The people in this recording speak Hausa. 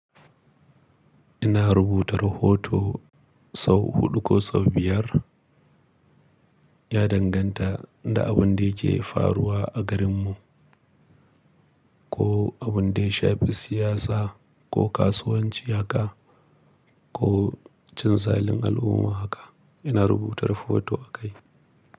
Ina rubuta rahoto sau huɗu ko sau biyar, ya danganta da abun da yake faruwa a garinmu ko abun da ya shafi siyasa ko kasuwanci haka ko cin zalin al'umma haka ina rubuta rahoto akai.